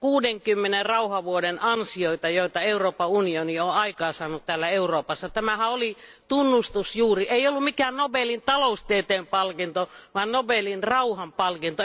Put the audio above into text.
60 rauhanvuoden ansioita, joita Euroopan unioni on aikaansaanut täällä Euroopassa. Siitähän tämä oli tunnustus, kyseessä ei ollut mikään Nobelin taloustieteen palkinto, vaan Nobelin rauhanpalkinto.